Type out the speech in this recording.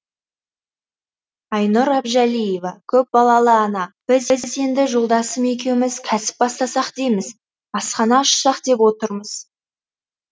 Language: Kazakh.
айнұр әбжалиева көпбалалы ана біз енді жолдасым екеуміз кәсіп бастасақ дейміз асхана ашсақ деп отырмыз